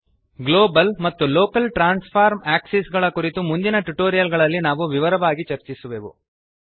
global ಮತ್ತು local transform axis ಗಳ ಕುರಿತು ಮುಂದಿನ ಟ್ಯುಟೋರಿಯಲ್ ಗಳಲ್ಲಿ ನಾವು ವಿವರವಾಗಿ ಚರ್ಚಿಸುವೆವು